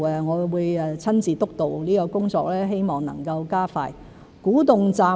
我會親自督導這項工作，希望能加快進度。